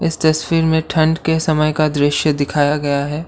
इस तस्वीर में ठंड के समय का दृश्य दिखाया गया है।